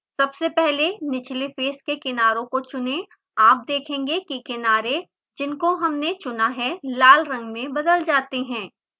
सबसे पहले निचले फेस के किनारों को चुनेंआप देखेंगे कि किनारे जिनको हमने चुना है लाल रंग में बदल जाते हैं